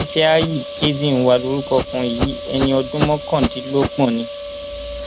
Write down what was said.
ìfẹáyí ezinwa lorúkọ ọkùnrin yìí ẹni ọdún mọkàndínlọgbọn ni